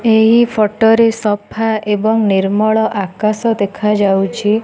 ଏହି ଫଟ ସଫା ଏବଂ ନିର୍ମଳ ଆକାଶ ଦେଖାଯାଉଛି।